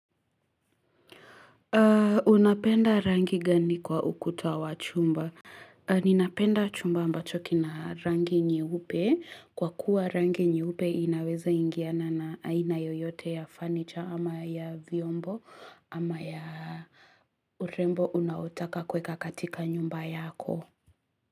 Unapenda rangi gani kwa ukuta wa chumba? Ninapenda chumba ambacho kina rangi nyeupe. Kwa kuwa rangi nyeupe inaweza ingiana na aina yoyote ya fanicha ama ya viombo ama ya urembo unaotaka kuweka katika nyumba yako.